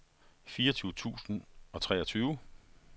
fireogtyve tusind og treogtyve